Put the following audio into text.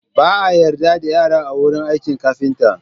Ba a yarda da yara a wurin aikin kafinta.